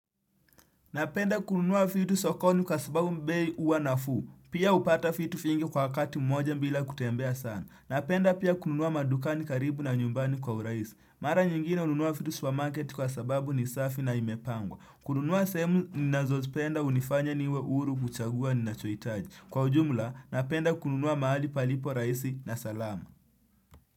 Napenda kununua vitu sokoni kwa sababu bei huwa nafuu. Pia hupata vitu vingi kwa wakati mmoja bila kutembea sana. Napenda pia kununua madukani karibu na nyumbani kwa urahisi. Mara nyingine hununua vitu supermarket kwa sababu ni safi na imepangwa. Kununua sehemu ninazozipenda hunifanya niwe huru kuchagua ninachohitaji. Kwa ujumla, napenda kununua mahali palipo rahisi na salama.